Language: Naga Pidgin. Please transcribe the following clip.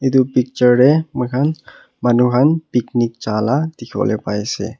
etu picture deh muikhan manu han picnic ja la dikhiwoleh pai asey.